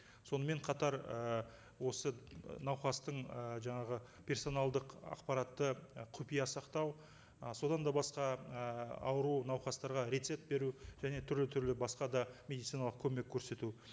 сонымен қатар і осы науқастың і жаңағы персоналдық ақпаратты і құпия сақтау ы содан да басқа ііі ауру науқастарға рецепт беру және түрлі түрлі басқа да медициналық көмек көрсету